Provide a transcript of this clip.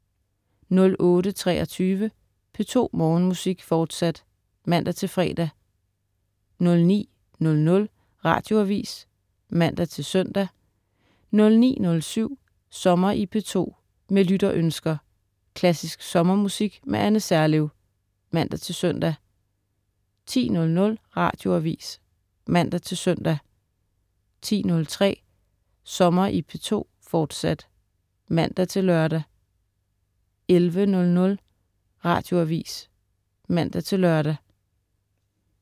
08.23 P2 Morgenmusik, fortsat (man-fre) 09.00 Radioavis (man-søn) 09.07 Sommer i P2. Med lytterønsker. Klassisk sommermusik med Anne Serlev. (man-søn) 10.00 Radioavis (man-søn) 10.03 Sommer i P2, fortsat (man-lør) 11.00 Radioavis (man-lør)